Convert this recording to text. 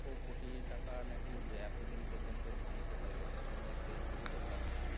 খো কোটি টাকা নাকি মম এতদিন পর্যন্ত ধ্বংস হয়ে গেছে শুধুমাত্র এই যুদ্ধের কারণে।